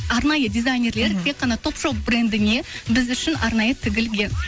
арнайы дизайнерлер тек қана топ шоп брендіне біз үшін арнайы тігілген